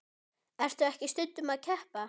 Ertu ekki stundum að keppa?